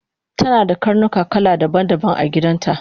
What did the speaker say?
tanada karnuka kala daban daban agidanta